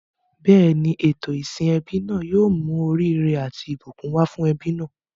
Bẹ́ẹ̀ni, ètò ìsìn ẹbí náà yóò mú oríire àti ìbùkún wá fún ẹbí náà.